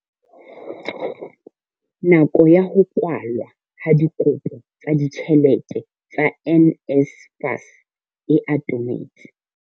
Nako ya ho kwalwa ha dikopo tsa ditjhelete tsa NSFAS e atometse.